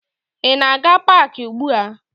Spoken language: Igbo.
Ị na-aga paakị ugbua?